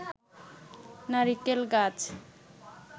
নারিকেল গাছ